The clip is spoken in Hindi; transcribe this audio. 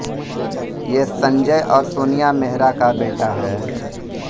ये संजय और सोनिया मेहरा का बेटा है